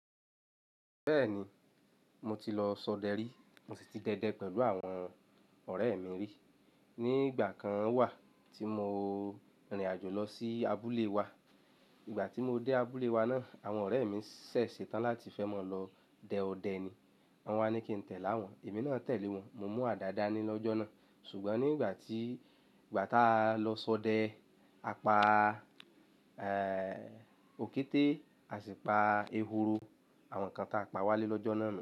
Bẹ́ẹ̀ni, mo ti lọ sọdẹ rí, mo sì ti dẹ́dẹ́ pẹ̀lú àwọn ọ̀rẹ́ mi rí. Ní ìgbà kan wà tí mo rìnrìn àjò lọ sí abúlé wa, ìgbà tí mo dé abúlé wa náà, àwọn ọ̀rẹ́ mi ṣẹ̀ ṣe tán láti fẹ́ mọ lọ dẹ ọdẹ ni. Wọ́n wá ní kí ń tẹ̀lé awọ́n, èmi náà tẹ̀lé wọ́n, mo mu ada dáa ni lọ́jọ́ náà. Ṣùgbọ́n nígbà tí, ìgbà tá a lọ sọdẹ, a pa, ẹ́, òkété, a sì pa ehoro, àwọn nǹkan ta a pa wálé lọ́jọ́ náà nu.